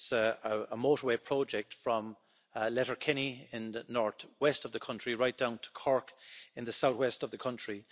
It's a motorway project from Letterkenny in the north west of the country right down to Cork, in the south west of the country.